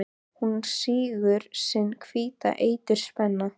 Hún sýgur sinn hvíta eitur spena.